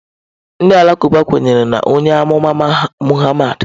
Ndị Alakụba kwenyere na onye amụma Muhammad.